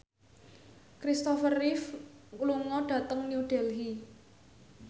Kristopher Reeve lunga dhateng New Delhi